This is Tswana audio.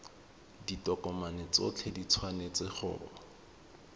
ditokomane tsotlhe di tshwanetse go